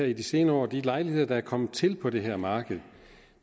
i de senere år at de lejligheder der er kommet til på det her marked